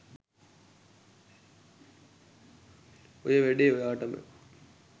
ඔය වැඩේ ඔයාටම